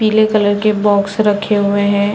पीले कलर के बॉक्स रखे हुए हैं ।